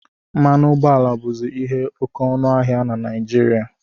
Mmanụ ụgbọala bụzi ihe oke ọnụ ahịa na Naijiria